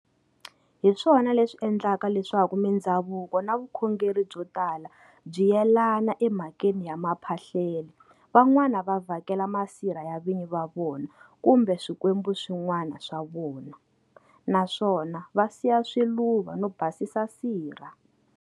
Hiswona leswi endlaka leswaku mindzhavuko na vukhongeri byo tala byi yelana emhakeni ya maphahlele. Van'wana va vhakela masirha ya vinyi va vona kumbe swikwembu swin'wana swa vona, naswona va siya swiluva no basisa sirha.